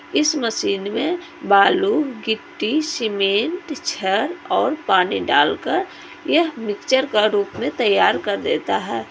इस मशीन में बालू मिट्टी सीमेंट छड़ और पानी डालकर यह मिक्सर का रूप में तैयार कर देता है।